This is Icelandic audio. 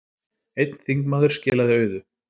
Einn þingmaður skilaði auðu